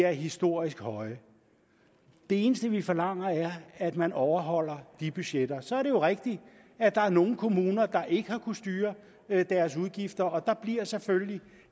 er historisk høje det eneste vi forlanger er at man overholder de budgetter så er det jo rigtigt at der er nogle kommuner der ikke har kunnet styre deres udgifter og der bliver selvfølgelig